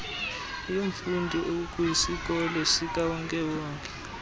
yomfundi okwisikolo sikawonke